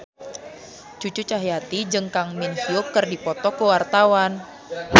Cucu Cahyati jeung Kang Min Hyuk keur dipoto ku wartawan